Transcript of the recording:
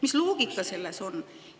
Mis loogika selles on?